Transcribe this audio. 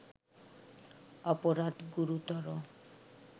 অপরাধ গুরুতর